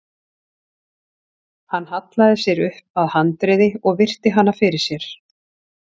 Hann hallaði sér upp að handriði og virti hana fyrir sér.